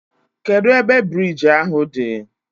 Kedụ ebe biriji ahụ dị?